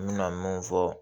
N bɛna mun fɔ